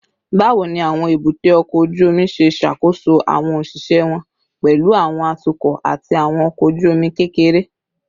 Bawo ni awọn ebute oko oju omi ṣe ṣakoso awọn oṣiṣẹ wọn, pẹlu awọn atukọ ati awọn ọkọ oju-omi kekere?